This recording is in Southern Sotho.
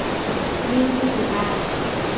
le ho se ba fe